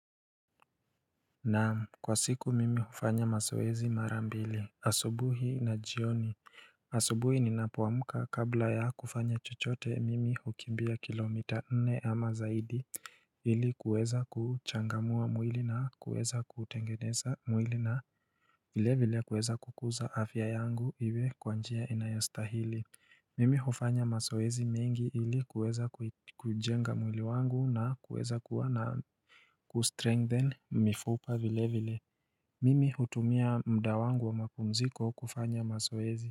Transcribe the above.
Na kwa siku mimi hufanya mazoezi mara mbili asubuhi na jioni asubuhi ninapoamka kabla ya kufanya chochote mimi hukimbia kilomita nne ama zaidi ili kuweza kuchangamua mwili na kuweza kutengeneza mwili na vile vile kuweza kukuza afya yangu iwe kwa njia inayastahili Mimi hufanya mazoezi mingi ili kuweza kujenga mwili wangu na kuweza kuwa na kustrengthen mifupa vile vile. Mimi hutumia muda wangu wa mapumziko kufanya mazoezi.